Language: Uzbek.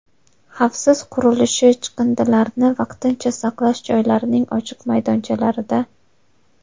xavfsiz qurilishi chiqindilarini vaqtincha saqlash joylarining ochiq maydonchalarida;.